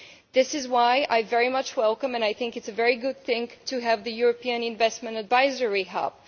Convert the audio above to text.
This is why I very much welcome and I think it is a very good thing to have the European Investment Advisory Hub.